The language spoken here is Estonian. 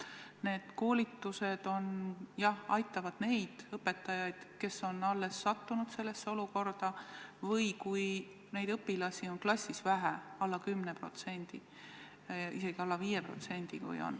Need koolitused, jah, aitavad neid õpetajaid, kes on alles sattunud sellesse olukorda, või kui muukeelseid õpilasi on klassis vähe, alla 10% või isegi alla 5%.